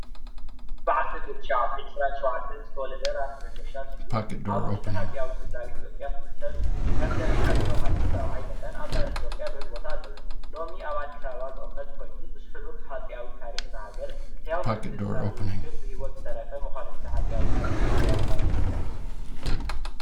ብዓሰርተ ትሸዓተ ዒስራን ሸውዓተን ዝተወለደ ራእሲ መንገሻ ሰዩም ኣብ ውሽጢ ሃፀዊያዊ ስድራቤት ኢትዮጵያ ፍሉጥ ሰብ ኤዩ። ከም ዘርኢ ሃፀይ ዮሃንስ ራብዓይ መጠን ኣብ ታሪኽ ኢትዮጵያ ልዑል ተቃበልነት ኣለዎ።